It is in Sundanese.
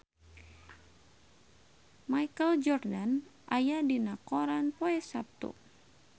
Michael Jordan aya dina koran poe Saptu